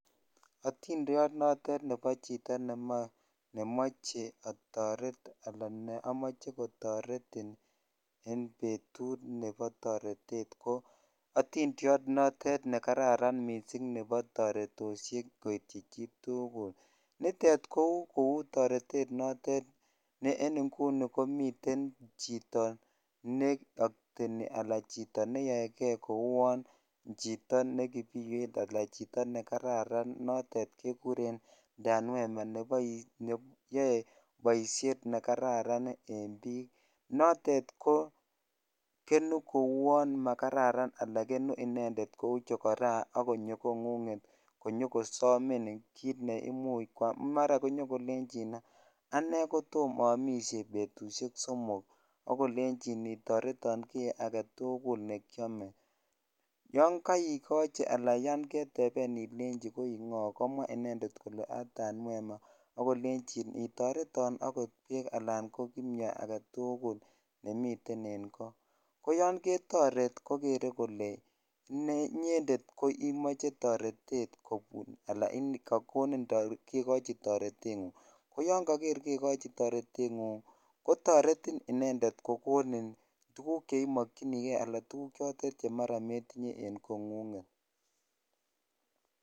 Otindiot notet nebo chito nemoche otoret alaa neomoche kotoretin en betut nebo toretet ko otindiot notet nekararan mising nebo toretoshek koityi chitukul, nitet ko kouu toretet notet notet ne en ing'uni jkomiten chito nee okteni anan chito neyoeke kouon chito ne kipiywet alaa chito nekararan notet kekuren Danwema neyoe boishet nekararan en biik, notet ko kenuu kouon makararan alaa kenuu inendet kouu chokora ak konyo kong'unget konyo koosomin kiit neimuch kwaam mara konyo kolenchin anee kotom omishe betushek somok ak kolenjin nitoreton kii aketukul nekiome, yoon koikochi alaa yoon keteben ilenchi koii ng'o komwaa inendet kolee aa Danwema ak kolenjin nitoreton okot beek alaan ko kimnyo aketukul nemiten en koo, koyon ketoret kokere kolee inyendet ko imoche toretet kobun alaan kokonin kekochi toreteng'ung, ko yoon koker kekochi toreteng'ung kotoretin inendet kokonin tukuk cheimokyinike alaa tukuk chotet chemara metinye en kong'unget.